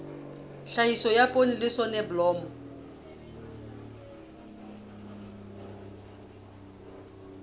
tlhahiso ya poone le soneblomo